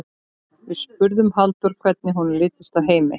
Við spurðum Halldór hvernig honum litist á Heimi?